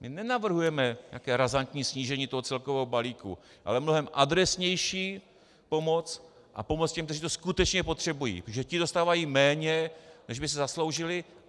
My nenavrhujeme nějaké razantní snížení toho celkového balíku, ale mnohem adresnější pomoc a pomoc těm, kteří to skutečně potřebují, protože ti dostávají méně, než by si zasloužili.